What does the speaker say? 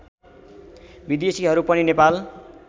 विदेशीहरू पनि नेपाल